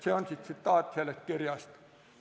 " See on tsitaat sellest kirjast.